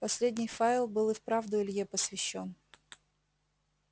последний файл был и вправду илье посвящён